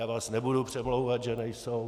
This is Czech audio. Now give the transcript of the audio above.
Já vás nebudu přemlouvat, že nejsou.